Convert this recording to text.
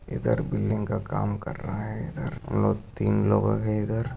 इधर बिल्डिंग का काम कर रहा है। इधर लोग तीन लोग है इधर--